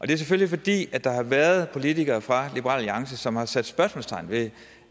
det er selvfølgelig fordi der har været politikere fra liberal alliance som har sat spørgsmålstegn ved